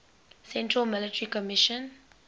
central military commission